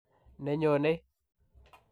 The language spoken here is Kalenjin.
Nenyonei.